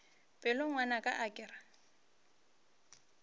pelo ngwanaka a ke re